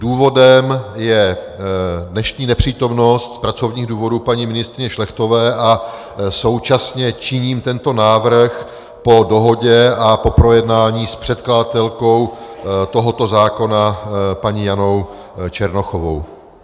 Důvodem je dnešní nepřítomnost z pracovních důvodů paní ministryně Šlechtové a současně činím tento návrh po dohodě a po projednání s předkladatelkou tohoto zákona paní Janou Černochovou.